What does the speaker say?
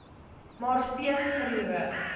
maar steeds verloor